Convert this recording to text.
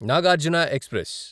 Nagarjuna express